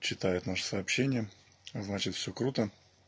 читают наши сообщения значит все круто